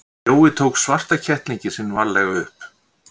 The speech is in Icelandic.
Jói tók svarta kettlinginn sinn varlega upp.